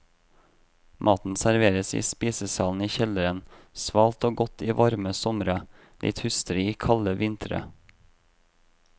Maten serveres i spisesalen i kjelleren, svalt og godt i varme somre, litt hustrig i kalde vintre.